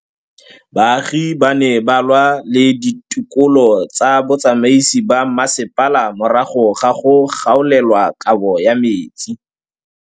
Baagi ba ne ba lwa le ditokolo tsa botsamaisi ba mmasepala morago ga go gaolelwa kabo metsi.